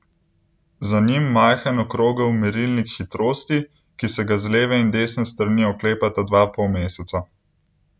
Za njim majhen okrogel merilnik hitrosti, ki se ga z leve in desne strani oklepata dva polmeseca.